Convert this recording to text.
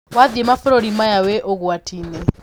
Wathiĩ mabũrũri maya wĩ ũgwati-inĩ.